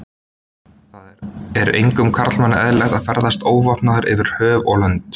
Það er engum karlmanni eðlilegt að ferðast óvopnaður yfir höf og lönd.